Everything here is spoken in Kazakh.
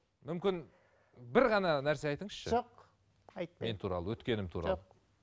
мүмкін бір ғана нәрсе айтыңызшы жоқ айтпаймын мен туралы өткенім туралы жоқ